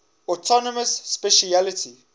autonomous specialty